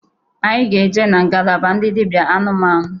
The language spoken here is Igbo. Anyị ga-eje na ngalaba ndị dịbịa anụmanụ.